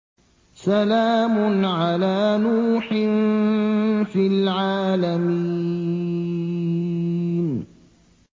سَلَامٌ عَلَىٰ نُوحٍ فِي الْعَالَمِينَ